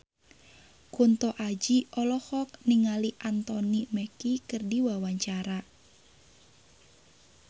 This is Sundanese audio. Kunto Aji olohok ningali Anthony Mackie keur diwawancara